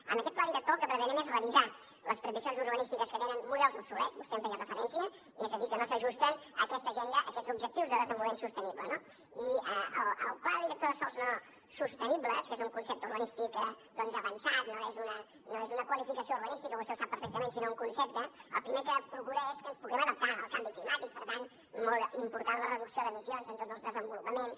amb aquest pla director el que pretenem és revisar les previsions urbanístiques que tenen models obsolets vostè hi feia referència és a dir que no s’ajusten a aquesta agenda a aquests objectius de desenvolupament sostenible no i el pla director de sòls no sostenibles que és un concepte urbanístic doncs avançat no és una qualificació urbanística vostè ho sap perfectament sinó un concepte el primer que procura és que ens puguem adaptar al canvi climàtic per tant molt important la reducció d’emissions en tots els desenvolupaments